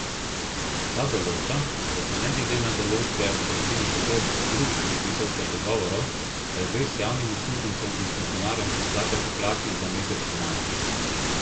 Ta določa, da se ne glede na določbe kolektivnih pogodb, drugih predpisov ter dogovorov, regres javnim uslužbencem in funkcionarjem izplača pri plači za mesec maj.